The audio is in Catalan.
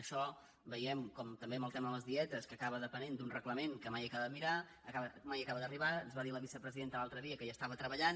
això veiem com també en el tema de les dietes que acaba depenent d’un reglament que mai acaba d’arribar ens va dir la vicepresidenta l’altre dia que hi estava treballant